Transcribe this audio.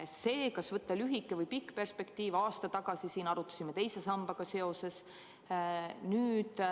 Seda, kas võtta lühike või pikk perspektiiv, me aasta tagasi siin arutasime teise sambaga seoses.